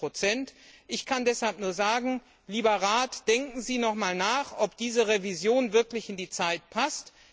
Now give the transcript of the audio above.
16 Ich kann deshalb nur sagen Lieber Rat, denken Sie noch einmal nach, ob diese Revision wirklich in die heutige Zeit passt.